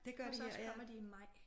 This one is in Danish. Det gør de her ja